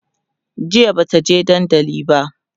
jiya Bata je dandali ba